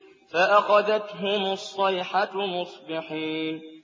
فَأَخَذَتْهُمُ الصَّيْحَةُ مُصْبِحِينَ